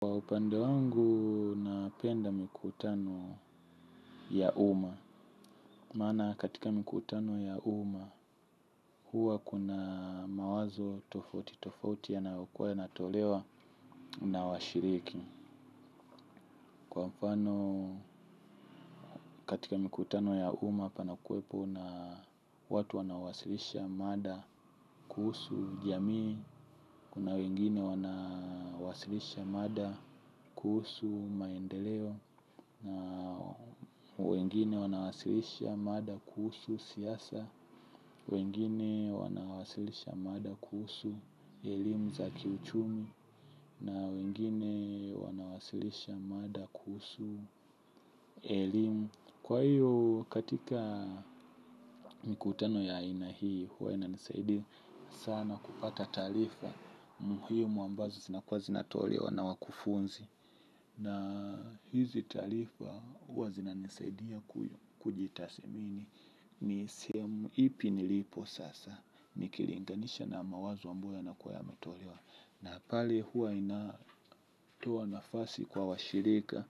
Kwa upande wangu, napenda mkutano ya uma. Maana katika mikutano ya uma, huwa kuna mawazo tofauti tofauti yanayokuwa yana tolewa na washiriki. Kwa mfano, katika mikutano ya uma, pana kuwepo na watu wanawasilisha mada kuhusu jamii. Kuna wengine wanawasilisha mada kuhusu maendeleo. Na wengine wanawasilisha mada kuhusu siasa. Wengine wanawasilisha mada kuhusu elimu za kiuchumi. Na wengine wanawasilisha mada kuhusu elimu. Kwa hiyo katika mikutano ya aina hii huwa inanisaidi sana kupata taarifa muhimu ambazo zinakuwa zinatolewa na wakufunzi. Na hizi taarifa huwa zina nisaidia kujitasimini. Ni simu ipi nilipo sasa. Nikilinganisha na mawazo ambayo yana kuwa yametolewa na pale huwa linatoa nafasi kwa washirika.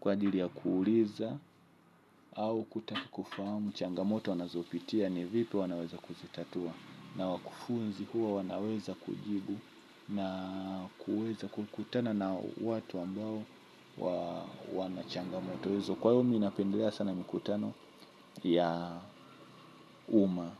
Kwa dili ya kuuliza au kutaka kufahamu changamoto wanazopitia ni vipi wanaweza kuzitatua. Na wakufunzi huwa wanaweza kujibu. Na kuweza kukutana na watu ambao wanachangamoto hizo. Kwa hivo mimi napendelea sana mikutano ya uma.